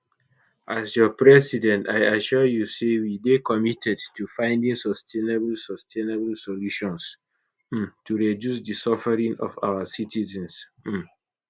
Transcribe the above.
as your president i assure you say we dey committed to finding sustainable sustainable solutions um to reduce di suffering of our citizens um